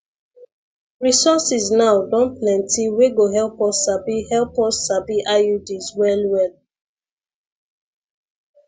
resources now don plenty wey go help us sabi help us sabi iuds well well